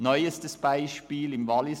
Neustes Beispiel im Wallis: